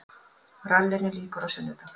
Rallinu lýkur á sunnudag